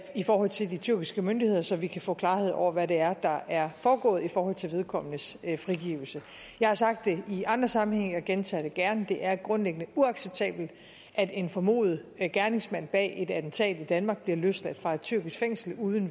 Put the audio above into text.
i forhold til de tyrkiske myndigheder så vi kan få klarhed over hvad det er der er foregået i forhold til vedkommendes frigivelse jeg har sagt det i andre sammenhænge og jeg gentager det gerne det er grundlæggende uacceptabelt at en formodet gerningsmand bag et attentat i danmark bliver løsladt fra et tyrkisk fængsel uden